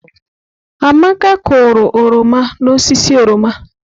Amaka kụrụ oroma n'osisi oroma.